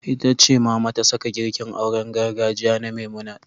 Ita ce Mama ta saka girkin auren gargajiya na Memunant.